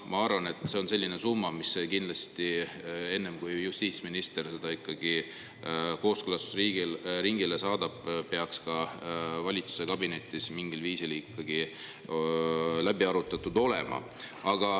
Ma arvan, et see on selline summa, mis peaks kindlasti, enne kui justiitsminister selle kooskõlastusringile saadab, ka valitsuskabinetis mingil viisil ikkagi läbi arutatud olema.